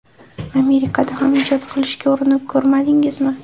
Amerikada ham ijod qilishga urinib ko‘rmadingizmi?